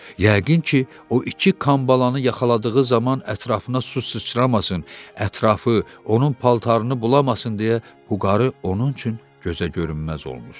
Yəqin ki, o iki kambalanı yaxaladığı zaman ətrafına su sıçramasın, ətrafı onun paltarını bulamasın deyə bu qarı onun üçün gözəgörünməz olmuşdu.